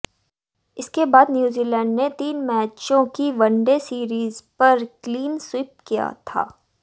इसके बाद न्यूजीलैंड ने तीन मैचों की वनडे सीरीज पर क्लीन स्वीप किया था